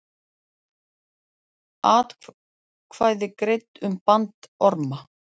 Atkvæði greidd um bandorma